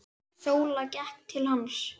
Sóla gekk til hans.